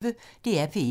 DR P1